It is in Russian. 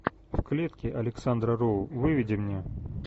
в клетке александра роу выведи мне